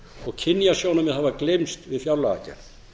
og kynjasjónarmið hafa gleymst við fjárlagagerð